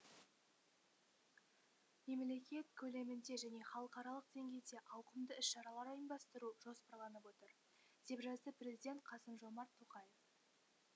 мемлекет көлемінде және халықаралық деңгейде ауқымды іс шаралар ұйымдастыру жоспарланып отыр деп жазды президент қасым жомарт тоқаев